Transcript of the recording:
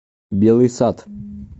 белый сад